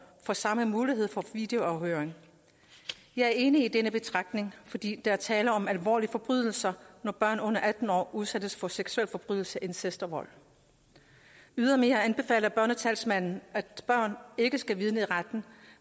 får samme mulighed for videoafhøring jeg er enig i denne betragtning fordi der er tale om alvorlige forbrydelser når børn under atten år udsættes for seksuelle forbrydelser incest og vold ydermere anbefaler børnetalsmanden at børn ikke skal vidne i retten